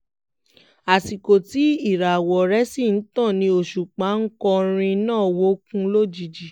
àsìkò tí ìràwọ̀ rẹ̀ sì ń tàn ni òṣùpá onkọrin náà wọ̀ọ̀kùn lójijì